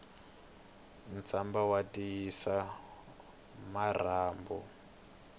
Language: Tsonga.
ntswamba wu tiyisa marhambu